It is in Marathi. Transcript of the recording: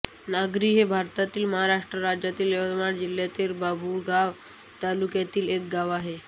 नगरी हे भारतातील महाराष्ट्र राज्यातील यवतमाळ जिल्ह्यातील बाभुळगाव तालुक्यातील एक गाव आहे